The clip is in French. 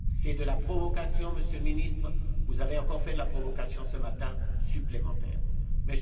C'est de la provocation, Monsieur le Ministre, vous avez encore fait de la provocation supplémentaire ce matin.